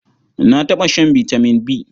Na taɓa shan vitamin B.